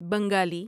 Bengali